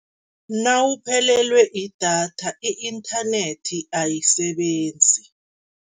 Nawuphelelwe idatha i-inthanethi ayisebenzi.